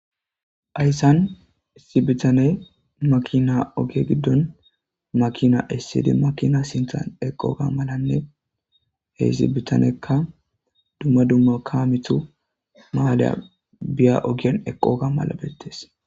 Hayssan issi bitaney makina oge giddon makina issidi makina sinthan eqooga malanne he zibitanekka dumma dumma kaamitu maaleya biya ogien eqoga mala beettees.